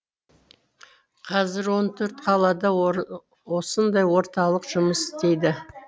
қазір он төрт қалада осындай орталық жұмыс істейді